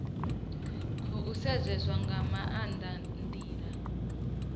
khou sedzeswa nga maanda ndila